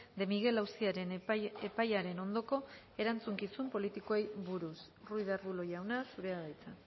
de miguel auziaren epaiaren ondoko erantzukizun politikoei buruz ruiz de arbulo jauna zurea da hitza